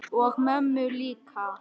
Og mömmu líka.